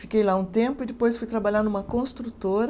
Fiquei lá um tempo e depois fui trabalhar numa construtora.